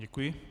Děkuji.